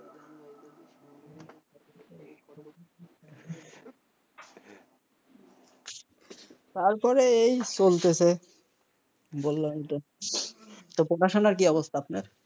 তারপরে এই চলতেছে বললাম ই তো, পড়াশোনার কি অবস্থা,